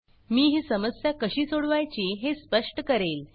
मी ही समस्या कशी सोडवायची हे स्पष्ट करेल